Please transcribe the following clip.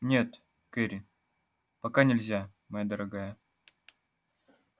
нет кэрри пока нельзя моя дорогая